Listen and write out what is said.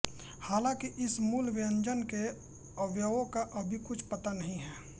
हालाँकि इस मूल व्यंजन के अवयवों का अभी कुछ पता नहीं है